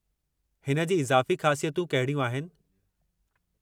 हिन जी इज़ाफ़ी ख़ासियतूं कहिड़ियूं आहिनि?